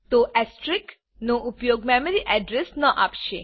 તો એસ્ટેરિક નો ઉપયોગ મેમરી અડ્રેસ ન આપશે